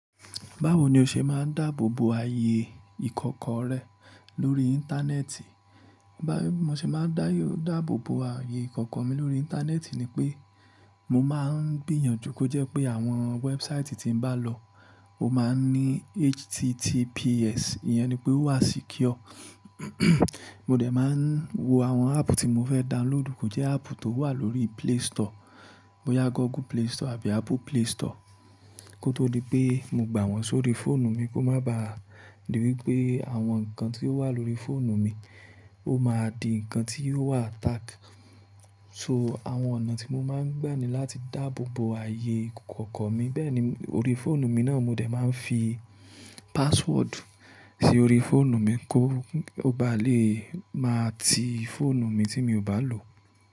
Báwo ni o ṣe máa ń dáàbò bo ààyè ìkọ̀kọ̀ rẹ lórí Íńtánẹ́ẹ̀tì? Bí mo ṣe máa ń dáàbò bo ààyè ìkọ̀kọ̀ mi lórí Íńtánẹ́ẹ̀tì ni pé mo máa ń gbìyànjú kó jẹ́ pé àwọn wẹ́ẹ̀búsáìtì tí ń bá lọ ó máa ń ní https, ìyẹn ni pé ó wà secure. Mo dẹ̀ máa ń wo àwọn áàpù tí mo fẹ́ download kó jẹ́ áàpù tó wà lórí Play Store. Bóyá Google Play Store àbí Apple Play Store kó tó di pé mo gbà wọ́n sórí fóònù mi kó má ba di wípé àwọn ǹkan tí ó wà lórí fóònù mi ó máa di ǹkan tí yóò wà attack. So, àwọn ọ̀nà tí mo máa ń gbà ní láti dáàbò bo ààyè ìkọ̀kọ̀ mi. Bẹ́ẹ̀ ni lórí fóònù mi náà mo dẹ̀ máa ń fi password sí orí fóònù mi kó ó bá lè máa ti fóònù mi tí mi ò bá lò.